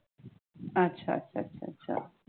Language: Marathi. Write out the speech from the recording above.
अच्छा अच्छा अच्छा अच्छा